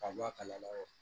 Ka bɔ a kalama